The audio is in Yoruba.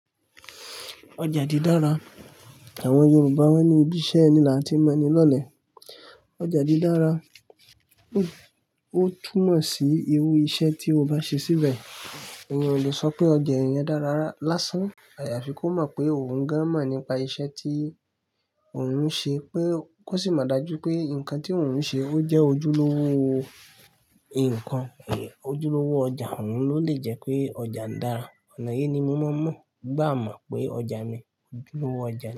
Ọjà di dára. Àwọn Yorùbá wọ́n ní "Ibi iṣẹ́ ni làti mọ ẹni lọlẹ̀." ọjà di dára, ó túmọ̀ sí irú iṣẹ́ tí o bá ṣe síbẹ̀. Èèyàn ò lè sọ pé ọjà èèyàn dára lásán. Àyàfi kó mọ̀ pé òun gan mọ̀ nípa iṣẹ́ tí òun ń ṣe pé kó sì mọ̀ dájú pé nǹkan tí òun ń ṣe ó jẹ́ ojúlówó owó nǹkan. Ojúlówó ọjà òun ló lè jẹ́ pé ọjà ń dára. Ọ̀nà yìí ni mo máa ń mọ̀, gbà à mo pé ọjà mi ojúlówó ọjà.